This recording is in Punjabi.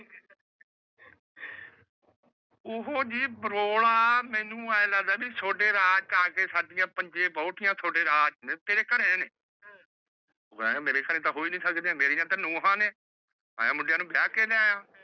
ਓਹੋ ਜੀ ਮੈਨੂ ਏਹ ਲਗਦਾ ਵੇ ਥੋੜ੍ਹੇ ਰਾਹ ਚ ਆ ਕੇ ਸਾਡੀਆਂ ਥੋੜ੍ਹੇ ਨੇ ਤੇਰੇ ਘਰੇ ਨੇ ਮੇਰੇ ਘਰੋ ਤਾਂ ਹੋ ਹੀ ਨੀ ਸਕਦੇ ਮੇਰੀਆਂ ਤੇ ਨੁਵਾ ਨੇ ਮੈ ਮੁੰਡੇਆਂ ਨੂੰ ਵਿਆਹ ਕੇ ਲਿਯਾਯਾਂ